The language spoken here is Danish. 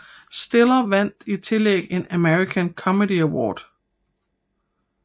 Stiller vandt i tillæg en American Comedy Award